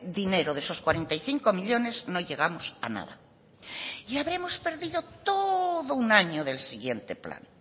dinero de esos cuarenta y cinco millónes no llegamos a nada y habremos perdido todo un año del siguiente plan